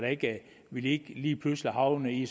vi ikke lige pludselig havner i